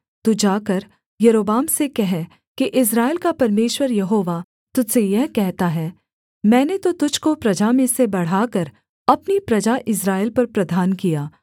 तू जाकर यारोबाम से कह कि इस्राएल का परमेश्वर यहोवा तुझ से यह कहता है मैंने तो तुझको प्रजा में से बढ़ाकर अपनी प्रजा इस्राएल पर प्रधान किया